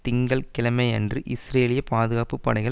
திங்கள் கிழமையன்று இஸ்ரேலிய பாதுகாப்பு படைகள்